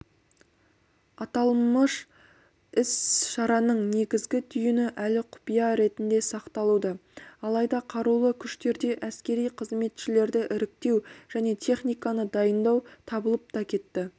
аталмыш іс-шараның негізгі түйіні әлі құпия ретінде сақталуда алайда қарулы күштерде әскери қызметшілерді іріктеу және техниканы дайындау басталып та кетті